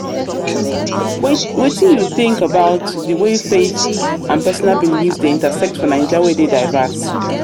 wetin you think about di way faith di way faith and personal beliefs dey intersect for naija wey dey diverse?